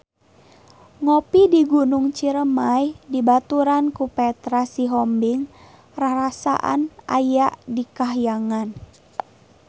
Ngopi di Gunung Ciremay dibaturan ku Petra Sihombing rarasaan aya di kahyangan